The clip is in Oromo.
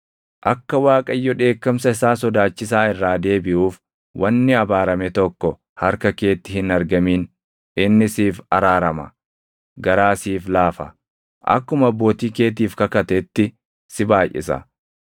Akka Waaqayyo dheekkamsa isaa sodaachisaa irraa deebiʼuuf wanni abaarame tokko harka keetti hin argamin; inni siif araarama; garaa siif laafa; akkuma abbootii keetiif kakatetti si baayʼisa;